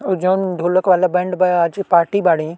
अ जोन ढ़ोलक वाला बैंड बा आज पार्टी बाड़ी।